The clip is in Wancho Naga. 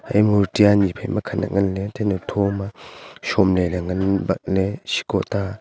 e murti anyi phaima khanak ngan ley thenu thoma shomley ley ngan batley shiko ta --